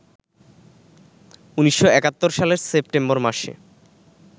১৯৭১ সালের সেপ্টেম্বর মাসে